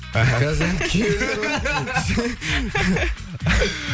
аха қазір енді күйеулері бар